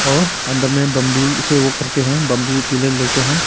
और अंदर में बंबू से वो करके हैं बंबू का पिलर लेकर है।